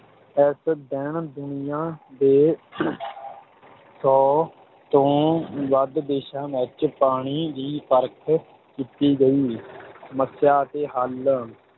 ਇਸ ਦਿਨ ਦੁਨੀਆ ਦੇ ਸੌ ਤੋਂ ਵੱਧ ਦੇਸ਼ਾਂ ਵਿੱਚ ਪਾਣੀ ਦੀ ਪਰਖ ਕੀਤੀ ਗਈ ਸਮੱਸਿਆ ਅਤੇ ਹੱਲ,